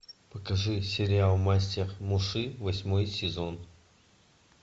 покажи сериал мастер муси восьмой сезон